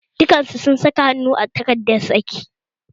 Dukan su sun saka hannu a takardar saki